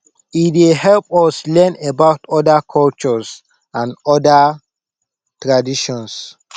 e dey help us learn about other cultures and other traditions